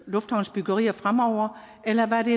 lufthavnsbyggerier fremover eller hvad er det